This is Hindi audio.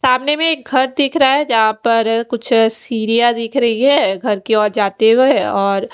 सामने में एक घर दिख रहा है जहाँ पर कुछ सीढियाँ दिख रही है घर के और जाते हुए और--